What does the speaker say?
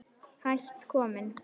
Hætt kominn